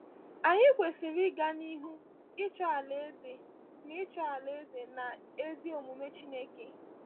Anyị kwesịrị “ịga n’ihu ịchọ Alaeze n’ihu ịchọ Alaeze na ezi omume Chineke.”